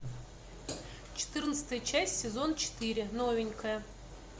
четырнадцатая часть сезон четыре новенькая